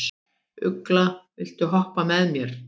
Ugla, viltu hoppa með mér?